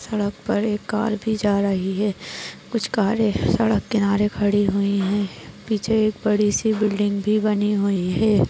सड़क पर एक कार भी जा रही है। कुच्छ कारे सड़क किनारे खड़ी हुई है। पीछे एक बडीसी बिल्डिंग भी बनी हुई है।